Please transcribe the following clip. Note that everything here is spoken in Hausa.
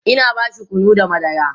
Ina bashi kunu da madara